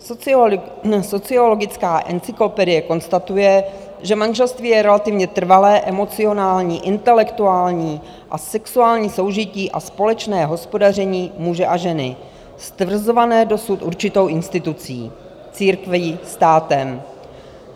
Sociologická encyklopedie konstatuje, že manželství je relativně trvalé, emocionální, intelektuální a sexuální soužití a společné hospodaření muže a ženy stvrzované dosud určitou institucí - církví, státem.